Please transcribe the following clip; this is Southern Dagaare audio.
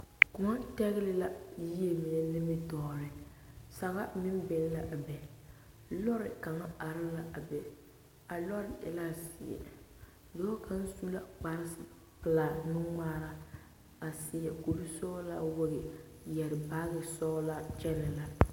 Kóɔ tɛgle la yie mine nimitɔɔreŋ saga meŋ biŋ la a be lɔre kaŋa are la a be a lɔre e la zeɛ dɔɔ kaŋ su la kpar pelaa nuŋmaara a seɛ kuri sɔgelaa wogi yɛrɛ baagi sɔgelaa kyɛnɛ la